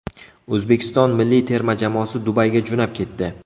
O‘zbekiston milliy terma jamoasi Dubayga jo‘nab ketdi.